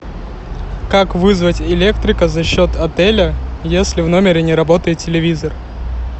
как вызвать электрика за счет отеля если в номере не работает телевизор